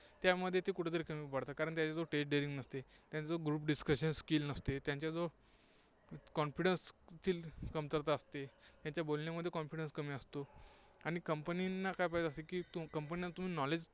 त्यामध्ये ते कुठे तरी कमी पडतात. कारण त्यांच्या जवळ stage daring नसते. त्यानंतर group discussion skill नसते. त्यांच्या जवळ confidence ची कमरता असते. त्यांच्या बोलण्यामध्ये confidence कमी असतो. आणि Company काय पाहिजे असतं की knowledge